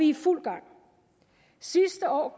i fuld gang sidste år